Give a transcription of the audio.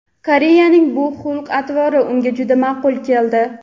Koreysning bu xulq-atvori unga juda maʼqul keldi.